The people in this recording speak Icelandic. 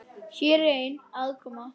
Hér er ein: aðkoma